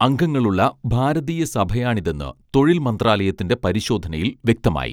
അംഗങ്ങളുള്ള ഭാരതീയ സഭയാണിതെന്ന് തൊഴിൽ മന്ത്രാലയത്തിന്റെ പരിശോധനയിൽ വ്യക്തമായി